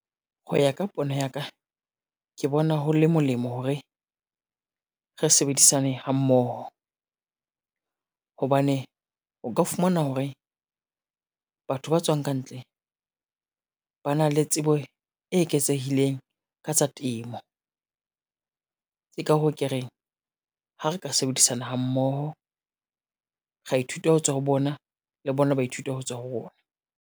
Ho ya ka pono ya ka, ke bona ho le molemo hore, re sebedisane hammoho. Hobane o ka fumana hore, batho ba tswang kantle ba na le tsebo e eketsehileng ka tsa temo. Ke ka hoo ke reng ha re ka sebedisana hammoho, ra ithuta ho tswa ho bona, le bona ba ithuta ho tswa ho rona.